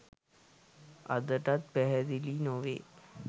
අදටත් පැහැදිලි නොවේ